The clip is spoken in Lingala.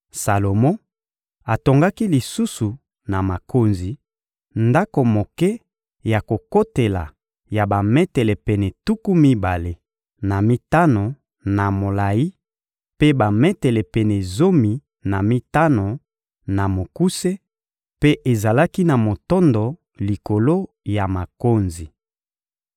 Salomo atongaki lisusu na makonzi, ndako moke ya kokotela ya bametele pene tuku mibale na mitano na molayi mpe bametele pene zomi na mitano na mokuse, mpe ezalaki na motondo likolo ya makonzi.